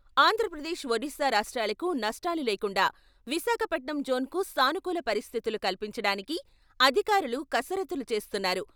ఆంధ్రప్రదేశ్, ఒడిసా రాష్ట్రాలకు నష్టాలు లేకుండా విశాఖపట్నం జోన్కు సానుకూల పరిస్థితులు కల్పించడానికి అధికారులు కసరత్తులు చేస్తున్నారు.